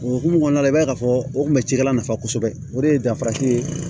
O hokumu kɔnɔna la i b'a ye k'a fɔ o kun bɛ cikɛla nafa kosɛbɛ o de ye danfara ye